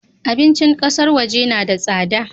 Abincin kasar waje na da tsada